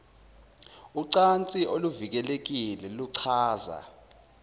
ucansi oluvikelekile kuchaza